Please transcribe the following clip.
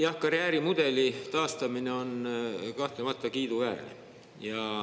Jah, karjäärimudeli taastamine on kahtlemata kiiduväärne.